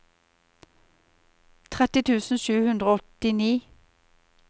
tretti tusen sju hundre og åttini